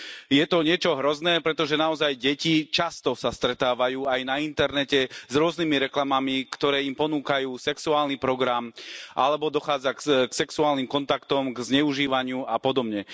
Je to niečo hrozné, pretože naozaj deti sa často stretávajú aj na internete s rôznymi reklamami, ktoré im ponúkajú sexuálny program, alebo dochádza k sexuálnym kontaktom, zneužívaniu a podobne.